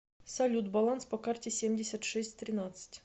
салют баланс по карте семьдесят шесть тринадцать